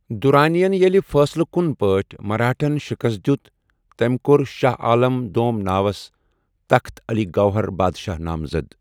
دُرانین ییلہِ فٲصلہٕ کُن پٲٹھۍ مرہٹھاہن شِکست دِیُت ، تمہِ كو٘ر شاہ عالم دوم ناوس تحت علی گوہر بادشاہ نامزد ۔